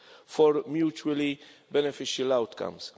for mutually beneficial outcomes.